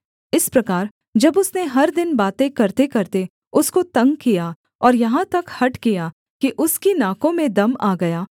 इस प्रकार जब उसने हर दिन बातें करतेकरते उसको तंग किया और यहाँ तक हठ किया कि उसकी नाकों में दम आ गया